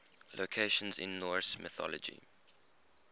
locations in norse mythology